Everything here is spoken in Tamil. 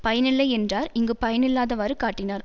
பயனில்லை யென்றார் இங்கு பயனில்லாதவாறு காட்டினார்